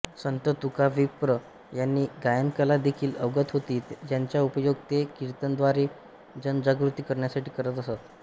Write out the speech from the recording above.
संत तुकाविप्र यांना गायनकला देखील अवगत होती ज्याचा उपयोग ते कीर्तनाद्वारे जनजागृती करण्यासाठी करत असत